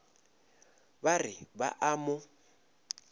ba re ba a mo